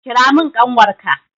Kira mun ƙanwar ka!